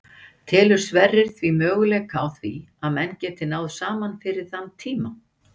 Telur Sverrir því möguleika á því að menn geti náð saman fyrir þann tíma?